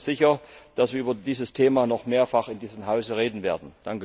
Ich bin mir sicher, dass wir über dieses Thema noch mehrfach in diesem Haus reden werden.